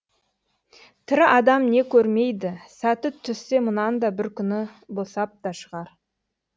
тірі адам не көрмейді сәті түссе мұнан да бір күні босап та шығар